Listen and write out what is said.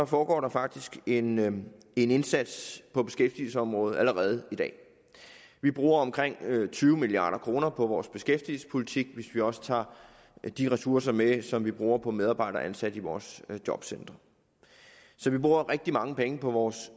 foregår der faktisk en en indsats på beskæftigelsesområdet allerede i dag vi bruger omkring tyve milliard kroner på vores beskæftigelsespolitik hvis vi også tager de ressourcer med som vi bruger på medarbejdere ansat i vores jobcentre så vi bruger rigtig mange penge på vores